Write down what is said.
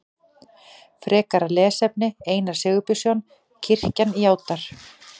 Frekara lesefni Einar Sigurbjörnsson: Kirkjan játar.